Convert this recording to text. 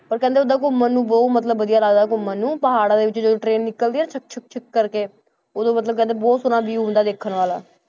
ਪਰ ਕਹਿੰਦੇ ਓਦਾਂ ਘੁੰਮਣ ਨੂੰ ਬਹੁਤ ਮਤਲਬ ਵਧੀਆ ਲੱਗਦਾ ਘੁੰਮਣ ਨੂੰ, ਪਹਾੜਾਂ ਦੇ ਵਿੱਚ ਜਦੋਂ train ਨਿਕਲਦੀ ਹੈ ਛੁਕ ਛੁਕ ਛੁਕ ਕਰਕੇ ਉਦੋਂ ਮਤਲਬ ਕਹਿੰਦੇ ਬਹੁਤ ਸੋਹਣਾ view ਹੁੰਦਾ ਵੇਖਣ ਵਾਲਾ।